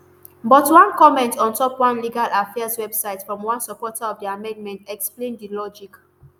but one comment on top one legal affairs website from one supporter of di amendment explain di logic